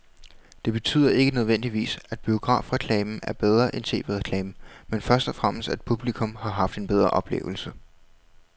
Det betyder ikke nødvendigvis, at biografreklamen er bedre end tv-reklamen, men først og fremmest at publikum har haft en bedre oplevelse.